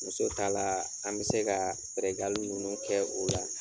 Muso ta la an bɛ se ka pɛrɛgali ninnu kɛ o la.